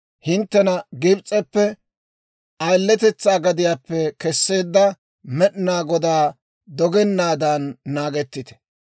hinttena Gibs'eppe, ayiletetsaa gadiyaappe kesseedda Med'inaa Godaa dogennaadan naagettite.